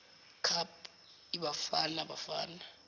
cup ibafana bafana